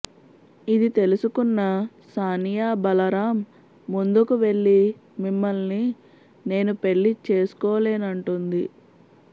ఇది తెలుసుకున్న సానియా బలరాం ముందుకి వెళ్ళి మిమ్మల్ని నేను పెళ్ళి చేసుకోలేనంటుంది